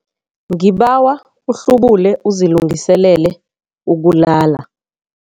Ngibawa uhlubule uzilungiselele ukulala.